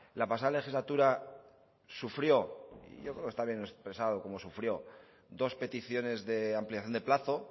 la pasada legislatura sufrió yo creo que está bien expresado cómo sufrió dos peticiones de ampliación de plazo